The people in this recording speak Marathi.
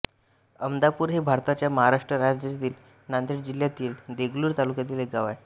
आमदापूर हे भारताच्या महाराष्ट्र राज्यातील नांदेड जिल्ह्यातील देगलूर तालुक्यातील एक गाव आहे